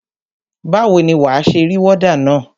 Báwo ni wà á ṣe rí wọ́dà na?